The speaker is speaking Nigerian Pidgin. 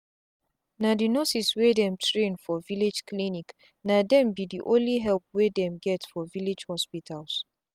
na the nurses wey dem train for village clinicna dem be the only help wey dem get for village hospitals